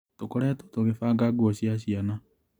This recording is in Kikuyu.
Tũkoretwo tũkĩbanga nguo cia ciana .